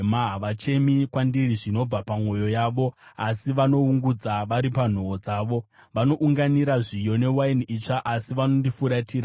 Havachemi kwandiri zvinobva pamwoyo yavo, asi vanoungudza vari panhoo dzavo. Vanounganira zviyo newaini itsva asi vanondifuratira.